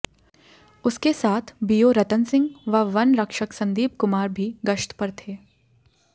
उसके साथ बीओ रतन सिंह व वन रक्षक सन्दीप कुमार भी गश्त पर थे